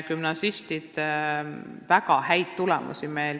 Gümnasistid on näidanud väga häid tulemusi.